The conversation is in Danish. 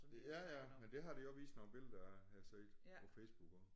Ja ja men det har de også vist nogle billeder af har jeg set på Facebook også